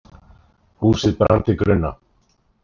Húsið brann til grunna